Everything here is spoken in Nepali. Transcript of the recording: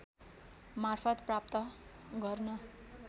मार्फत् प्राप्त गर्न